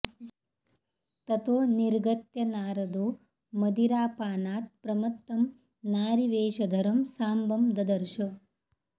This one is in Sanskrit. ततो निर्गत्य नारदो मदिरापानात् प्रमत्तं नारीवेशधरं साम्बं ददर्श